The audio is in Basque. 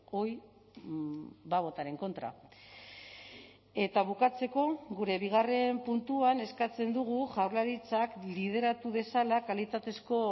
hoy va a votar en contra eta bukatzeko gure bigarren puntuan eskatzen dugu jaurlaritzak lideratu dezala kalitatezko